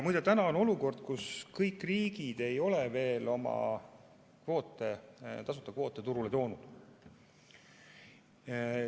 Muide, täna on olukord, kus kõik riigid ei ole veel oma tasuta kvoote turule toonud.